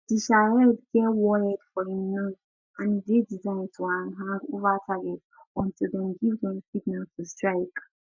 di shahed get warhead for im nose and e dey designed to hang to hang ova target until dem give dem signal to strike